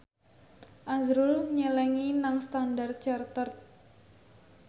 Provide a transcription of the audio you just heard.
azrul nyelengi nang Standard Chartered